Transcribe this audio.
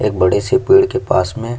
एक बड़े से पेड़ के पास में--